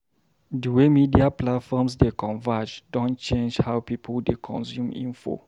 The way media platforms dey converge don change how people dey consume info.